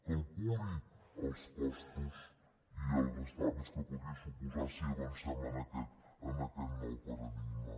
calculi els costos i els estalvis que podria suposar si avancem en aquest nou paradigma